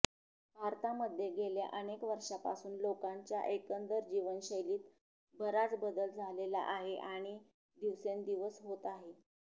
भारतामध्ये गेल्या अनेक वर्षापासून लोकांच्या एकंदर जीवनशैलीत बराच बदल झालेला आहे आणि दिवसेंदिवस होत आहे